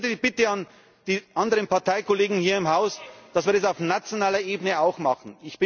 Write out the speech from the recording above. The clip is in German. Ich hätte die Bitte an die anderen Parteikollegen hier im Haus, dass wir das auf nationaler Ebene auch machen.